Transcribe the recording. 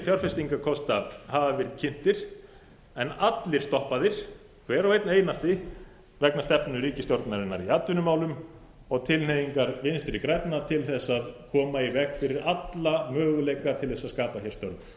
fjárfestingarkosta hafa verið kynntir en allir stoppaðir hver og einn einasti vegna stefnu ríkisstjórnarinnar í atvinnumálum og tilhneigingar vinstri grænna til að koma í veg fyrir alla möguleika til að skapa störf